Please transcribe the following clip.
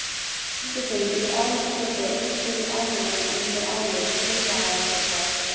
Fundarstjóri getur ávallt skotið einstökum atriðum undir álit hluthafafundar.